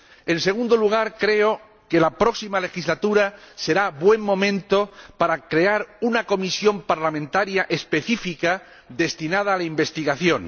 En segundo lugar, creo que la próxima legislatura será buen momento para crear una comisión parlamentaria específica destinada a la investigación.